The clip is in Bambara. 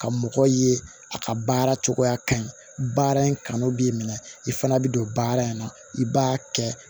Ka mɔgɔ ye a ka baara cogoya ka ɲi baara in kanu b'i minɛ i fana bɛ don baara in na i b'a kɛ